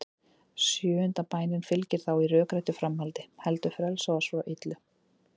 Sjöunda bænin fylgir þá í rökréttu framhaldi: Heldur frelsa oss frá illu.